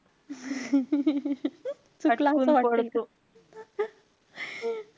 चुकला असं वाटेल.